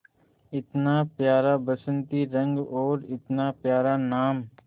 इतना प्यारा बसंती रंग और इतना प्यारा नाम